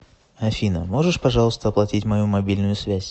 афина можешь пожалуйста оплатить мою мобильную связь